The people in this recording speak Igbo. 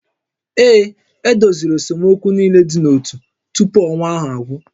Ee, e doziri esemokwu niile dị n'ótú tupu ọnwa ahụ agwụ